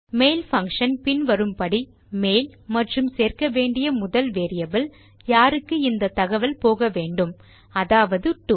mail function பின் வரும் படி மெயில் மற்றும் சேர்க்க வேண்டிய முதல் வேரியபிள் யாருக்கு இந்த தகவல் போக வேண்டும் அதாவது டோ